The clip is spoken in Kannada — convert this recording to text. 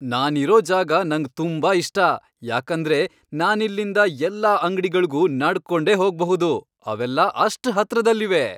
ನಾನಿರೋ ಜಾಗ ನಂಗ್ ತುಂಬಾ ಇಷ್ಟ ಯಾಕಂದ್ರೆ ನಾನಿಲ್ಲಿಂದ ಎಲ್ಲ ಅಂಗ್ಡಿಗಳ್ಗೂ ನಡ್ಕೊಂಡೇ ಹೋಗ್ಬಹುದು, ಅವೆಲ್ಲ ಅಷ್ಟ್ ಹತ್ರದಲ್ಲಿವೆ.